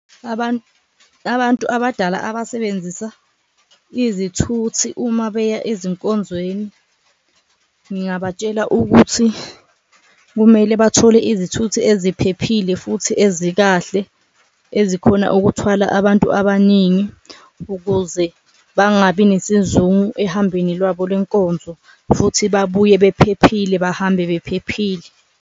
Abantu abadala abasebenzisa izithuthi uma beya ezinkonzweni ngingabatshela ukuthi kumele bathole izithuthi eziphephile futhi ezikahle, ezikhona ukuthwala abantu abaningi ukuze bangabi nesizungu ehambweni lwabo lwenkonzo futhi babuye bephephile, bahambe bephephile.